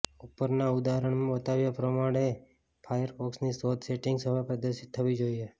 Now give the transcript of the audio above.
ઉપરના ઉદાહરણમાં બતાવ્યા પ્રમાણે ફાયરફોક્સની શોધ સેટિંગ્સ હવે પ્રદર્શિત થવી જોઈએ